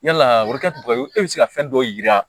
Yala e bɛ se ka fɛn dɔw yira